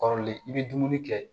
Kɔrɔlen i bɛ dumuni kɛ